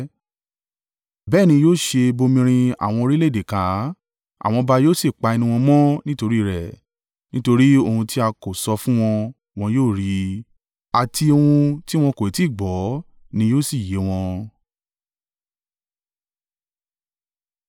Bẹ́ẹ̀ ni yóò ṣe bomirin àwọn orílẹ̀-èdè ká, àwọn ọba yóò sì pa ẹnu wọn mọ́ nítorí rẹ̀. Nítorí ohun tí a kò sọ fún wọn, wọn yóò rí i, àti ohun tí wọn kò tí ì gbọ́, ni yóò sì yé wọn.